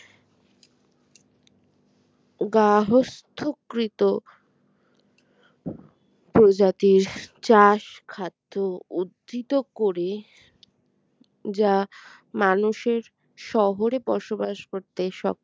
গাহস্থকৃত প্রজাতির চাষ খাদ্য উদ্ধৃত করে যা মানুষের শহরে বসবাস করতে স